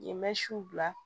Yen bɛ su bila